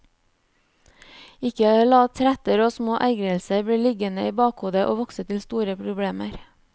Ikke la tretter og små ergrelser bli liggende i bakhodet og vokse til store problemer.